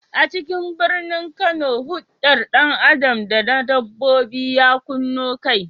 A cikin birnin Kano, huldar dan Adam da na dabbobi ya kunno kai.